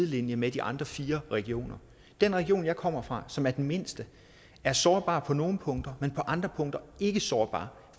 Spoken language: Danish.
linje med de andre fire regioner den region jeg kommer fra som er den mindste er sårbar på nogle punkter men på andre punkter ikke sårbar